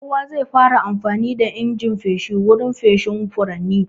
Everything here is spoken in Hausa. Kowa zai fara amfani da injin feshi wurin feshin furanni.